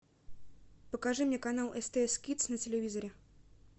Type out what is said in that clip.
покажи мне канал стс кидс на телевизоре